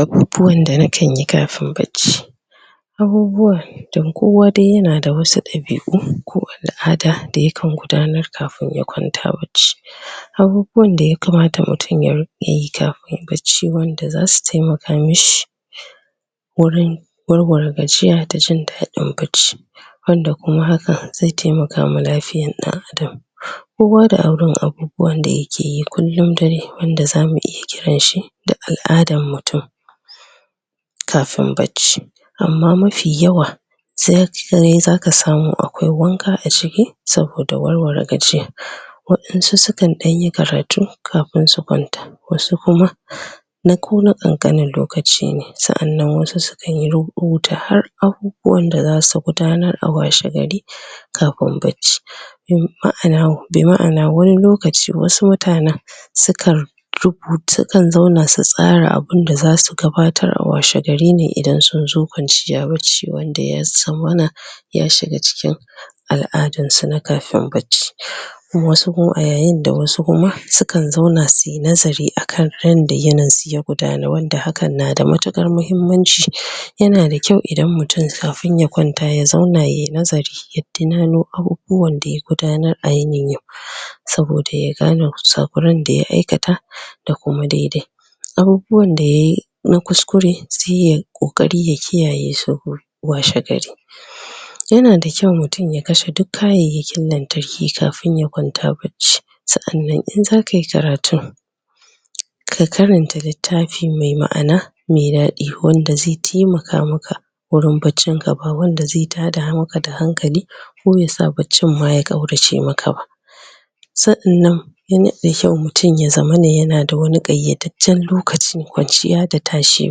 Abubuwan da nakan yi kafin bacci; abubuwa don kowa dai ya na da wasu ɗabi'u ko al'ada da yakan gudanar kafin ya kwanta bacci. Abubuwan da ya kamata mutum yayi yayi kafin bacci wanda za su taimaka mishi, wurin war-ware gajiya da jin daɗin bacci. Banda kuma haka, zai taimakama lafiyan ɗan-adam. Kowa da irin abubuwan da ya ke yi kullum dare wanda za mu iya kiran shi da al'adan mutum, kafin bacci. Amma mafi yawa, sai an kiyaye za ka samu akwai wanka a ciki, saboda war-ware gajiya. Waɗansu sukaa ɗan yi karatu kafin su kwanta. Wasu kuma na kona ƙan-ƙanin lokaci ne. Sa'annan wasu su ɗan yi rubuta har a wanda za su gudanar a washe gari kafin bacci. Bi ma'ana hu, bi ma'ana wani lokaci wasu mutanen sukan rubuta, sukan zauna su tsara abunda za su gabatarwa a washe gari ne idan sun zo kwanciya bacci wanda ya zama mana ya shiga cikin al'adan su na kafin bacci. Wasu kuma, a yayin da wasu kuma sukan zauna su yi nazari akan yanda yinin su zai gudanu wanda hakan na da matuƙar muhimmanci. Ya na da kyau idan mutum kafin ya kwanta ya zauna yayi nazari ya tunano abubuwan da ya gudanar a yinin yau, saboda ya gane kusa-kuran da ya aikata da kuma dai-dai. Abubuwan da yayi na kus-kure sai yayi ƙoƙari ya kiyaye saboda washe gari. Ya na da kyau mutum ya kashe duk kayayyakin lantarki kafin ya kwanta bacci. Sa'annan in za ka yi karatu, ka karanta littafi mai ma'ana mai daɗi, wanda zai taimaka maka wurin baccin ka, ba wanda zai ta da hankali ko ya sa baccin ma ya ƙaurace maka ba. Sa'annan ya na da kyau mutum ya zamana ya na da wani ƙayyadadden lokacin kwanciya da tashi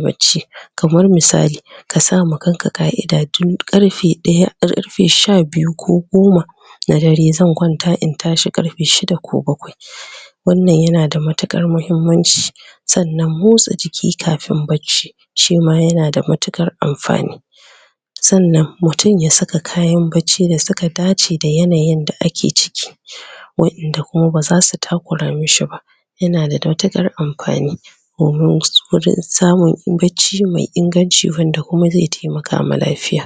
bacci. Kamar misali ka sa ma kanka ƙa'ida tun ƙarfe ɗaya ko ƙarfe sha-biyu ko goma na dare, zan kwanta in tashi ƙarfe shida ko bakwai. Wannan ya na da matuƙar muhimmanci. Sannan motsa jiki kafin bacci shi ma ya na da matuƙar amfani. Sannan mutum ya saka kayan bacci da suka dace da yanayin da ake ciki, waƴanda kuma ba za su taƙura musu ba, ya na da matuƙar amfani. Horon gudun, samun in bacci mai inganci wanda kuma zai taimaka ma lafiya.